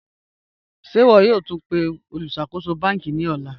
Ṣẹ̀ ìwọ̀ yòó túń pẹ̀ olùṣakóṣò bankí ní òlà?